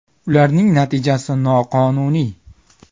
Ularning natijasi noqonuniy.